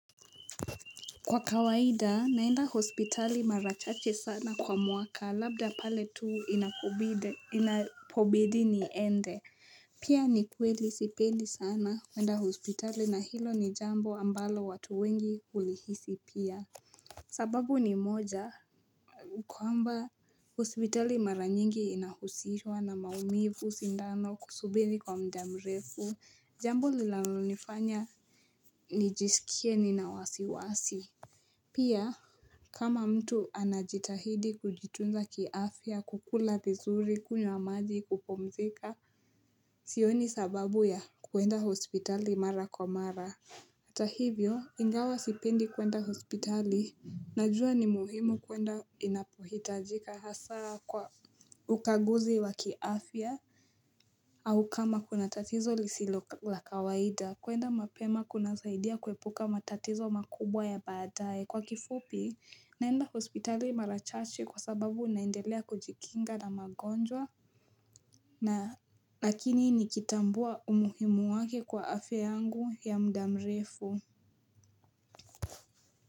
Kwa kawaida naenda hospitali mara chache sana kwa mwaka labda pale tu inapobidi niende. Pia ni kweli sipendi sana kwenda hospitali na hilo ni jambo ambalo watu wengi hulihisi pia sababu ni moja kwamba hospitali mara nyingi inahusishwa na maumivu sindano kusubiri kwa mda mrefu jambo linalonifanya nijisikie ni na wasiwasi Pia, kama mtu anajitahidi kujitunza kiafia, kukula vizuri, kunywa maji, kupumzika, sioni sababu ya kuenda hospitali mara kwa mara. Ata hivyo, ingawa sipendi kuenda hospitali, najua ni muhimu kuenda inapuhitajika hasa kwa ukaguzi wa kiafia au kama kuna tatizo lisilo la kawaida. Kuenda mapema kunasaidia kuepuka matatizo makubwa ya badae. Kwa kifupi, naenda hospitali mara chache kwa sababu naendelea kujikinga na magonjwa, lakini nikitambua umuhimu wake kwa afya yangu ya mda mrefu.